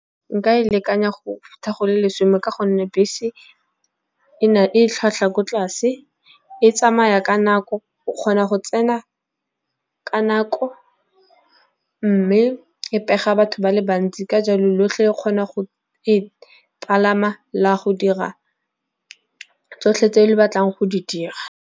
nka e lekanya go tla go le lesome ka gonne bese e tlhwatlhwa ko tlase, e tsamaya ka nako, o kgona go tsena ka nako mme e pega batho ba le bantsi. Ka jalo lotlhe le kgona go e palama la go dira tsotlhe tse le batlang go di dira.